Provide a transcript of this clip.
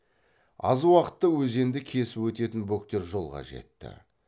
аз уақытта өзенді кесіп өтетін бөктер жолға жетті